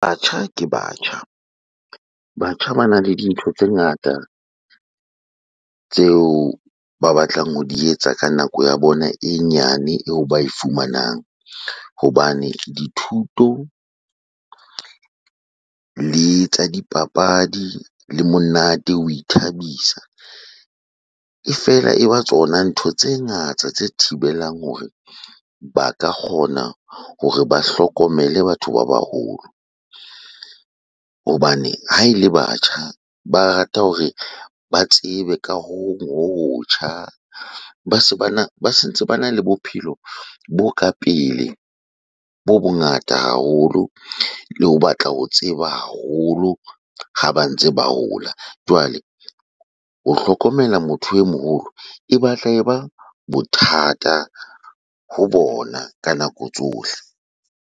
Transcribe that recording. Batjha ke batjha. Batjha bana le dintho tse ngata tseo ba batlang ho di etsa ka nako ya bona e nyane eo ba e fumanang. Hobane dithuto, le tsa dipapadi, le monate, ho ithabisa. E fela e ba tsona ntho tse ngata tse thibelang hore ba ka kgona hore ba hlokomele batho ba baholo. Hobane ha ele batjha ba rata hore ba tsebe ka ho hong ho hotjha. Ba se bana, ba se ntse bana le bophelo bo ka pele, bo bongata haholo, le ho batla ho tseba haholo ha ba ntse ba hola. Jwale ho hlokomela motho e moholo, e batla e ba bothata ho bona ka nako tsohle.